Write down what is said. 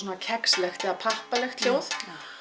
kexlegt eða pappalegt hljóð